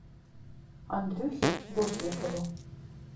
андрюхе вострикову